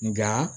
Nka